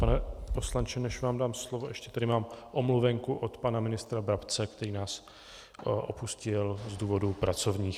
Pane poslanče, než vám dám slovo, ještě tady mám omluvenku od pana ministra Brabce, který nás opustil z důvodů pracovních.